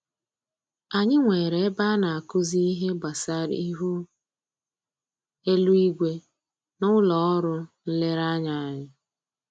Anyị nwere ebe a na-akụzi ihe gbasara ihu eluigwe n'ụlọ ọrụ nlereanya anyị